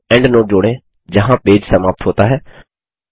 एक एंडनोट जोड़ें जहाँ पेज समाप्त होता है